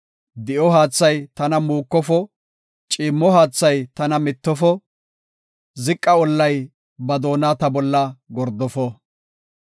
Di7o haathay tana muukofo; ciimmo haathay tana mittofo; ziqa ollay ba doona ta bolla gordofo.